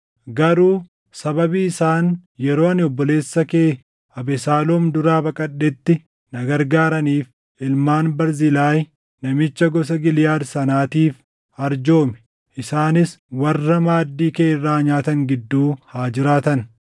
“Garuu sababii isaan yeroo ani obboleessa kee Abesaaloom duraa baqadhetti na gargaaraniif ilmaan Barzilaayii namicha gosa Giliʼaad sanaatiif arjoomi; isaanis warra maaddii kee irraa nyaatan gidduu haa jiraatan.